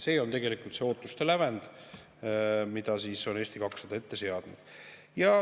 See on tegelikult see ootuste lävend, mille Eesti 200 on ette seadnud.